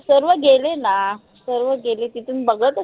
सर्व गेले ना सर्व गेले तिथून बघ